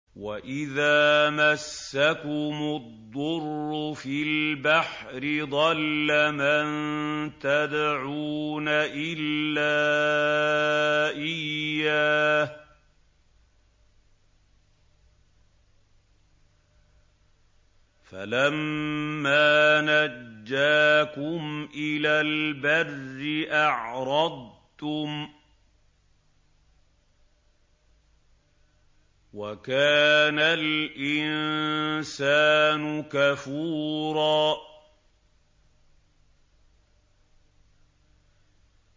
وَإِذَا مَسَّكُمُ الضُّرُّ فِي الْبَحْرِ ضَلَّ مَن تَدْعُونَ إِلَّا إِيَّاهُ ۖ فَلَمَّا نَجَّاكُمْ إِلَى الْبَرِّ أَعْرَضْتُمْ ۚ وَكَانَ الْإِنسَانُ كَفُورًا